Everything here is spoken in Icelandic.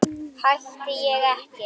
Hætti ég ekki?